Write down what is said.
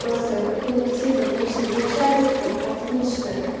просто коллектив отличный и начальство отличное